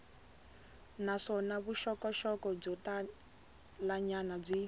naswona vuxokoxoko byo talanyana byi